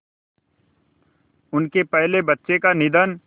उनके पहले बच्चे का निधन